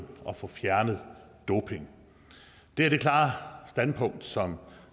og få fjernet doping det er det klare standpunkt som